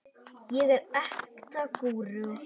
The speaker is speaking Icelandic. ég er ekta gúrú.